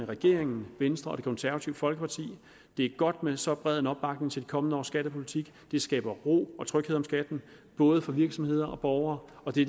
regeringen venstre og det konservative folkeparti det er godt med så bred en opbakning til det kommende års skattepolitik det skaber ro og tryghed om skatten både for virksomheder og borgere og det